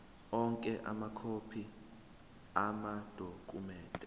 onke amakhophi amadokhumende